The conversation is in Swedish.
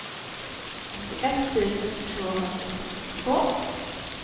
åttioett tusen tvåhundrasextiotvå